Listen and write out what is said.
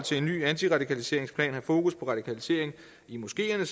ny antiradikaliseringsplan have fokus på radikalisering i moskeerne